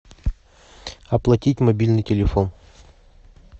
оплатить мобильный телефон